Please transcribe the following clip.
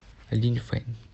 линьфэнь